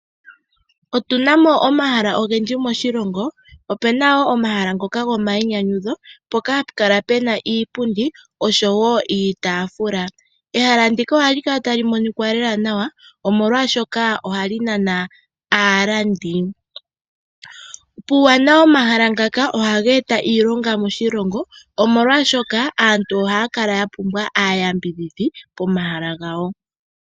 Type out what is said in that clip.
Otuna mo omahala ogendji moshilongo. Opuna wo omahala ngoka gomainyanyudho mpoka hapu kala puna iipundi oshowo iitaafula. Ehala ndika ohali kala tali monika lela nawa, omolwaashoka ohali nana aalandi. Puuwanawa womahala ngaka ohaga e ta iilonga moshilongo, omolwaashoka aantu ohaya kala ya pumbwa aayambidhidhi pomahala gawo.